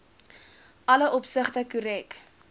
alle opsigte korrek